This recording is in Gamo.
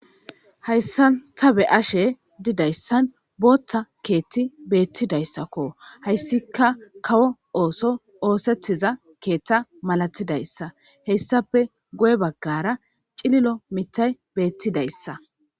Haysan ta be'ashe didaysan bootha keeth betidaysako, haysika kawo ootho oothetiza keetha malatidysa hesappe guye bagara cililo mitay betidaysa .